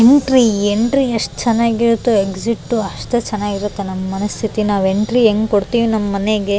Entry entry ಎಷ್ಟ್ ಚೆನ್ನಾಗಿರುತ್ತೆ exit ಅಷ್ಟೇ ಚೆನ್ನಾಗಿರುತ್ತೆ ನಮ್ಮ್ ಮನಸ್ತಿತಿ ನಾವು ಎಂಟ್ರಿ ಎಂಗ್ ಕೊಡ್ತೀವಿ ನಮ್ಮ್ ಮನೆಗೆ.